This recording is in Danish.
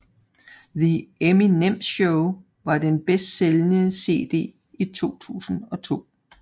The Eminem Show var den bedstsælgende CD i 2002